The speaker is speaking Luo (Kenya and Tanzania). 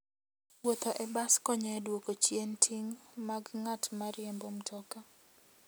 Wuotho e bas konyo e duoko chien ting' mag ng'at ma riembo mtoka.